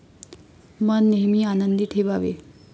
मन नेहमी आनंदी ठेवावे.